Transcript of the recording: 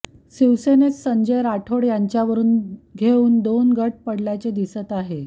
शिवसेनेत संजय राठोड यांच्यावरुन घेऊन दोन गट पडल्याचे दिसते आहे